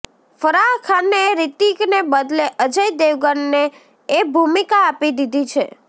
ફરાહ ખાને રિતિકને બદલે અજય દેવગનને એ ભૂમિકા આપી દીધી છે